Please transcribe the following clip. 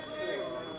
Xeyirə qarşı.